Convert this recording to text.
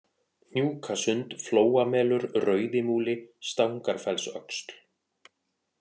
Hnjúkasund, Flóamelur, Rauðimúli, Stangarfellsöxl